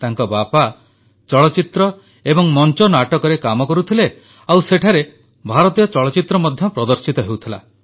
ତାଙ୍କ ବାପା ଚଳଚ୍ଚିତ୍ର ଏବଂ ମଂଚନାଟକରେ କାମ କରୁଥିଲେ ଓ ସେଠାରେ ଭାରତୀୟ ଚଳଚ୍ଚିତ୍ର ମଧ୍ୟ ପ୍ରଦର୍ଶିତ ହେଉଥିଲା